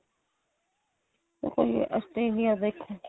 Australia ਦੇਖੋ